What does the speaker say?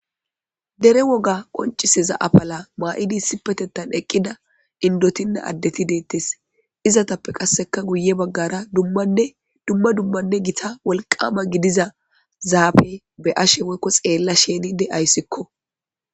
Dere woga qonciseza apala maa7idi sipetettan eqqida indotina addeti deettes izatappe qasseka guye baggara dadumma dummanne gita wolqama gidiza zaafe be ashe woykko xeella shenide ayssikko.